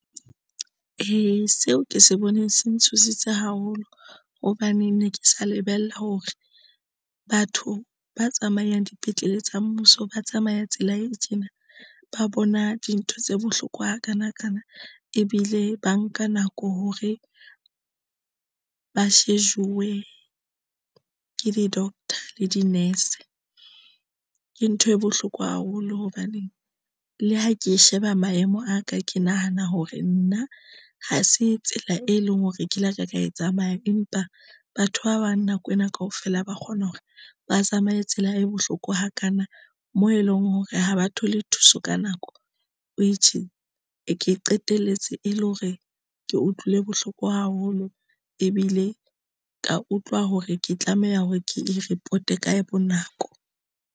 Ee, seo ke se bone se ntshositse haholo hobane ne ke sa lebella hore batho ba tsamayang dipetlele tsa mmuso ba tsamaya tsela e tjena, ba bona dintho tse bohloko ha kana kana ebile ba nka nako hore ba shejuwe ke di-doctor le di-nurse. Ke ntho e bohloko haholo hobaneng le ha ke sheba maemo a ka ke nahana hore nna ha se tsela, e leng hore ke la ka ka e tsamaya. Empa batho ba bang nako ena kaofela ba kgona hore ba tsamaye tsela e bohloko hakana moo e leng hore ha ba thole thuso ka nako. ke qetelletse e le hore ke utlwile bohloko haholo ebile ka utlwa hore ke tlameha hore ke e report-e ka bo nako.